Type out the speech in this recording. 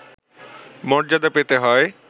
মর্যাদা পেতে হয়